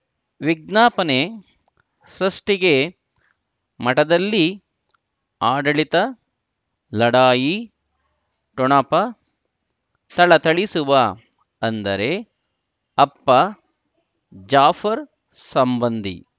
ವಿಜ್ಞಾಪನೆ ಸೃಷ್ಟಿಗೆ ಮಠದಲ್ಲಿ ಆಡಳಿತ ಲಢಾಯಿ ಠೊಣಪ ಥಳಥಳಿಸುವ ಅಂದರೆ ಅಪ್ಪ ಜಾಫರ್ ಸಂಬಂಧಿ